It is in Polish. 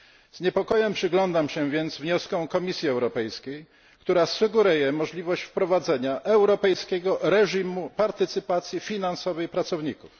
Z niepokojem przyglądam się więc wnioskom Komisji Europejskiej, która sugeruje możliwość wprowadzenia europejskiego reżimu partycypacji finansowej pracowników.